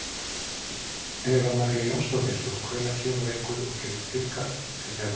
Eva María Jónsdóttir: Og hvenær kemur einhver og gerir tilkall til þeirra?